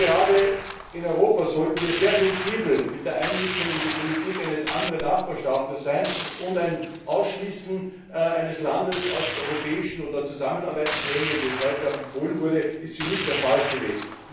Und gerade in Europa sollten wir sehr sensibel mit der Einmischung in die Politik eines anderen Nachbarstaats sein, und ein Ausschließen eines Landes aus europäischen oder Zusammenarbeitsgremien, wie es heute auch empfohlen wurde, ist für mich der falsche Weg.